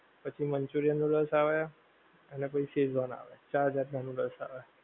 પછી manchurian noodles આવે અને પછી શેઝવાન આવે ચાર જાત નાં નૂડલ્સ આવે.